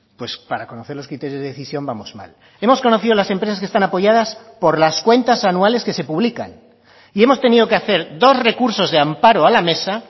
pues para conocer los criterios de decisión vamos mal hemos conocido las empresas que están apoyadas por las cuentas anuales que se publican y hemos tenido que hacer dos recursos de amparo a la mesa